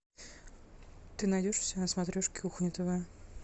ты найдешь у себя на смотрешке кухня тв